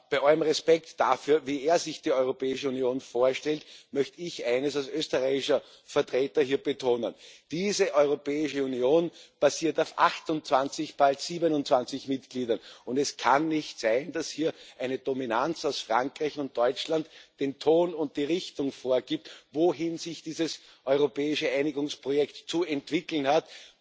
Bei allem Respekt dafür, wie er sich die Europäische Union vorstellt, möchte ich als österreichischer Vertreter hier eines betonen Diese Europäische Union basiert auf 28, bald 27 Mitgliedern, und es kann nicht sein, dass hier eine Dominanz aus Frankreich und Deutschland den Ton und die Richtung vorgibt, wohin sich dieses europäische Einigungsprojekt zu entwickeln hat.